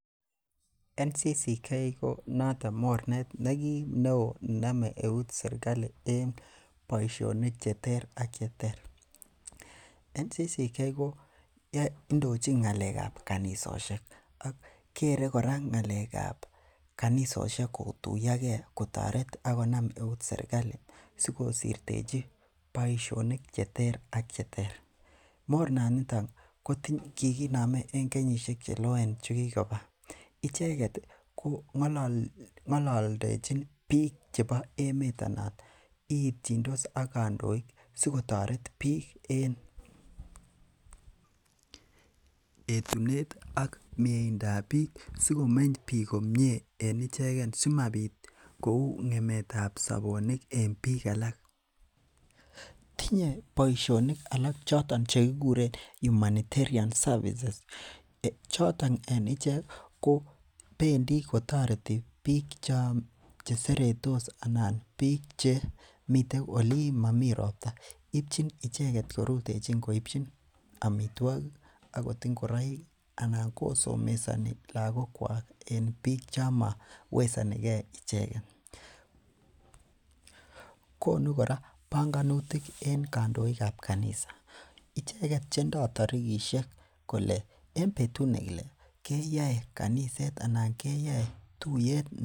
national council of churches of Kenya ko mornet neoo nename eut sirkali en boisionik cheter ak cheter National council of churches of Kenya ko indochin ng'alek kab kaitosiek kere kora ng'alekab karissiek kotuyage kotaret agonam eut sirkali sikosirtechi boisionik cheter ak cheter. morna niton ko kikiname en kenyisiek cheloen chekikoba icheket ko ng'alalendechin bik chebo emeet anan iitieindis ak kandoik siko toret en etunet ih ak mieindab bik ak sikomeny bik komie en ichegen simabir kouu ng'emetab sabonik en bik alak tinye boisionik alak chekikuren humanitarian services choton en ichek ko bendi kotoreti bik choon seretos anan bik che miten Olin mamii robta. ibchin icheket korutechin kobchi amituakik akot ingoraik anan kosomesani lakokuak en biik chomowesanike icheket. konu gora banganutik en kandoikab kanisa icheket chendoo tarikishek kole en betut nekilae keyae tuyetab.